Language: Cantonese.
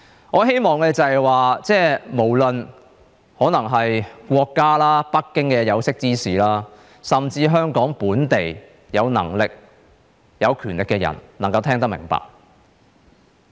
我希望，無論國家、北京的有識之士，甚至香港本地有能力、有權力的人能夠聽得明白。